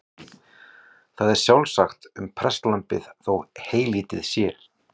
Það er sjálfsagt um prestlambið þó heylítið sé.